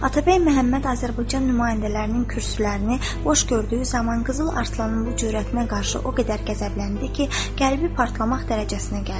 Atabəy Məhəmməd Azərbaycan nümayəndələrinin kürsülərini boş gördüyü zaman Qızıl Arslanın bu cür hərəkətinə qarşı o qədər qəzəbləndi ki, qəlbi partlamaq dərəcəsinə gəldi.